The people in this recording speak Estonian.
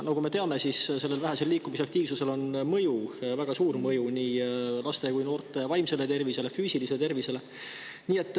Nagu me teame, vähesel liikumisaktiivsusel on väga suur mõju nii laste kui ka noorte vaimsele ja füüsilise tervisele.